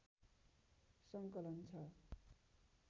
सङ्कलन छ